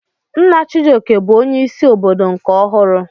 Nna Chijioke bụ onye isi obodo nke ọhụrụ.